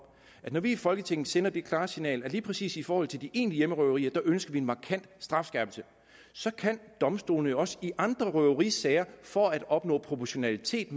når vi i folketinget sender det klare signal at lige præcis i forhold til de egentlige hjemmerøverier ønsker vi en markant strafskærpelse kan domstolene jo også i andre røverisager for at opnå proportionalitet